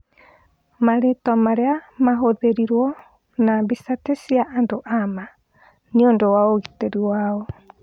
Marĩtwa marĩa mahũthĩrirwo na mbica ti cia andũ a ma nĩũndũ wa ũgitĩri wao.